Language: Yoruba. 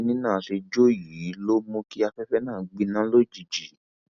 bí kinní náà ṣe jọ yìí ló mú kí afẹfẹ náà gbiná lójijì